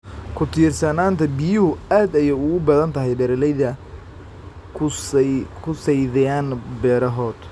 Ku tiirsanaanta biyuhu aad ayay ugu badan tahay beeralayda kusaitheyan berahot